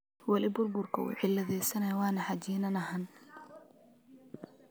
Wali baburka uu ciladheysanyhy wanaxajininahan.